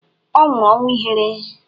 Ọ nwụrụ ọnwụ ihere.